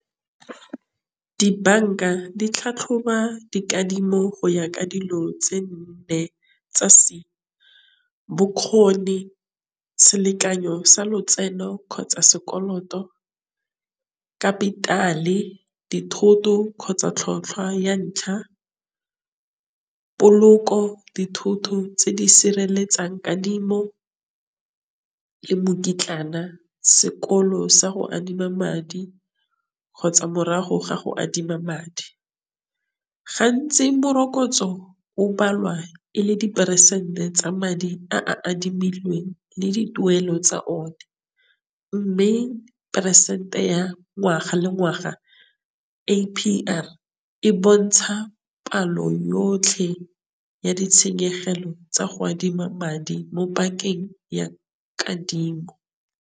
Dibanka di tlhatlhoba dikadimo go ya ka dilo tse nne tsa , bokgoni, selekanyo sa lotseno kgotsa sekoloto, kapitale, dithoto kgotsa tlhatlhwa ya ntlha, poloko, dithoto tse di sireletsang kadimo le mokitlana, sekolo sa go adima madi kgotsa morago ga go adima madi. Gantsi morokotso o balwa e le diperesente tsa madi a a adimilweng le di tuelo tsa one, mme peresente ya ngwaga le ngwaga A_P_R e bontsha palo yotlhe ya ditshenyegelo tsa go adima madi mo bankeng ya kadimo.